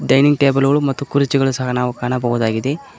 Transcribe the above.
Dining table ಗಳು ಮತ್ತು ಕುರ್ಚಿಗಳನ್ನು ಸಹ ನಾವು ಕಾಣಬಹುದಾಗಿದೆ.